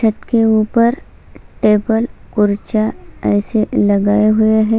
छत के ऊपर टेबल पुर्जा ऐसे लगाए हुए है।